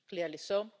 clearly so.